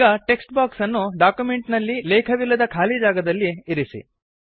ಈಗ text box ಅನ್ನು document ನಲ್ಲಿ ಲೇಖವಿಲ್ಲದ ಖಾಲಿ ಜಾಗದಲ್ಲಿ ಇರಿಸಿ